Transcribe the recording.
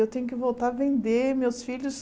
Eu tenho que voltar a vender meus filhos.